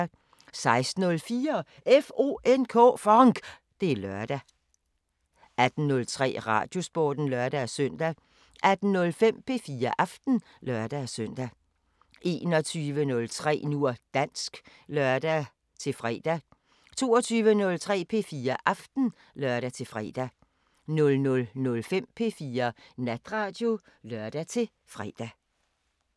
16:04: FONK! Det er lørdag 18:03: Radiosporten (lør-søn) 18:05: P4 Aften (lør-søn) 21:03: Nu og dansk (lør-fre) 22:03: P4 Aften (lør-fre) 00:05: P4 Natradio (lør-fre)